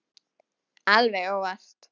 Alveg óvart.